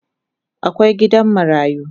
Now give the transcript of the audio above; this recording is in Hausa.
Akwai gidan marayu